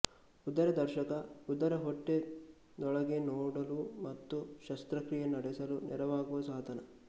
ಉದರದರ್ಶಕ ಉದರಹೊಟ್ಟೆದೊಳಗೆ ನೋಡಲು ಮತ್ತು ಶಸ್ತ್ರಕ್ರಿಯೆ ನಡೆಸಲು ನೆರವಾಗುವ ಸಾಧನ